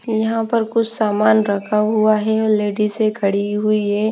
यहाँ पर कुछ सामान रखा हुआ है और लेडीजे खड़ी हुई है ।